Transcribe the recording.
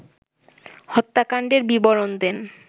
হত্যাকাণ্ডের বিবরণ দেন